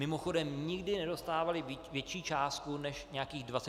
Mimochodem, nikdy nedostávali větší částku než nějakých 24 milionů.